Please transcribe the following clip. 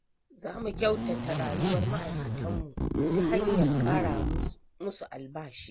Za mu kyautata rayuwar ma'aikatanmu ta hanyar ƙara musu albashi.